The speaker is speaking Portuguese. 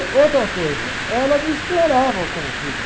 outra coisa, ela me explorava como filho.